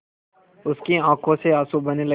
उसकी आँखों से आँसू बहने लगे